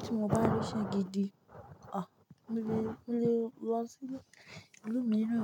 Tí mo bá rí ṣe gidi, à, mo lè, mo lè lọ sí ìlú mìíràn.